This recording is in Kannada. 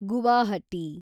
ಗುವಾಹಟಿ